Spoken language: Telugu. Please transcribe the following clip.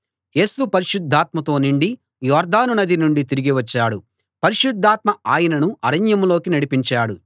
యేసు పరిశుద్ధాత్మతో నిండి యొర్దాను నది నుండి తిరిగి వచ్చాడు పరిశుద్ధాత్మ ఆయనను అరణ్యంలోకి నడిపించాడు